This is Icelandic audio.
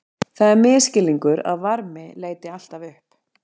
Það er misskilningur að varmi leiti alltaf upp.